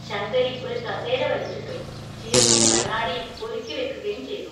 ശങ്കരി ഒരു കസേര വലിച്ചിട്ടു, ചീർപ്പും കണ്ണാടിയും ഒരുക്കിവെക്കുകയും ചെയ്തു.